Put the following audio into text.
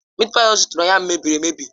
Mịịt páyi ọ zụtara ụnyahụ mebiri emebi.